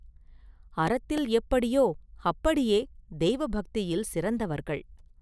அறத்தில் எப்படியோ அப்படியே தெய்வபக்தியில் சிறந்தவர்கள்.